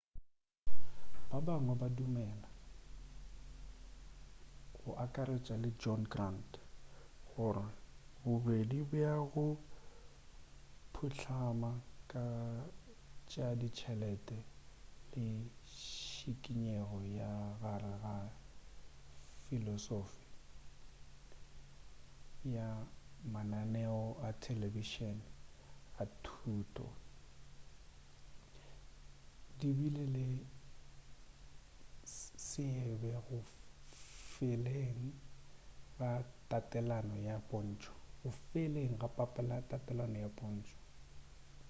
ba bangwe ba dumela go akaretša le john grant gore bobedi bja go phuhlama ga tša ditšhelete le šikinyego ka gare ga filosofi ya mananeo a telebišene a thuto di bile le seabe go feleng ga tatelano ya pontšo